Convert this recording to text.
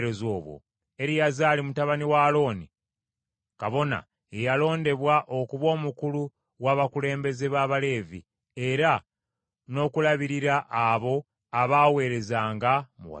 Eriyazaali mutabani wa Alooni kabona ye yalondebwa okuba omukulu w’abakulembeze ba Abaleevi, era n’okulabirira abo abaaweerezanga mu watukuvu.